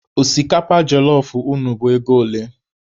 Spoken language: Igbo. Osikapa jelọf unu bụ ego ole?